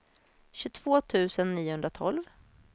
tjugotvå tusen niohundratolv